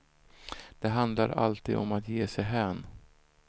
Det handlar alltid om att ge sig hän.